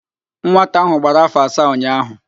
Nwata áhụ̀ gbara áfọ̀ asaa ụnyaahụ